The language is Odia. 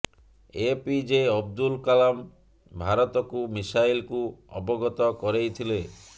ଏ ପି ଜେ ଅବଦୁଲ କଲାମ ଭାରତକୁ ମିସାଇଲକୁ ଅବଗତ କରେଇଥିଲେ